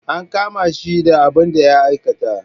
An kama shi da abin da ya aikata.